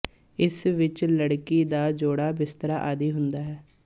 ਇਸ ਵਿੱਚ ਲੜਕੀ ਦਾ ਜੌੜਾ ਬਿਸਤਰਾ ਆਦਿ ਹੁੰਦਾ ਹੈ